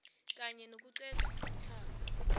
kanye nokuqeda umtlhago